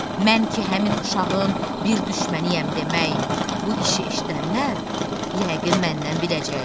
Mən ki həmin uşağın bir düşməniyəm demək, bu işi eşidənlər yəqin məndən biləcək."